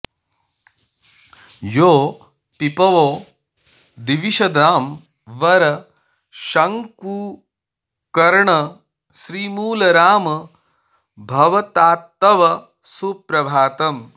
यो पीपवो दिविषदां वर शङ्कुकर्ण श्रीमूलराम भवतात्तव सुप्रभातम्